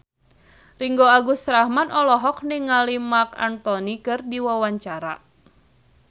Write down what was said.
Ringgo Agus Rahman olohok ningali Marc Anthony keur diwawancara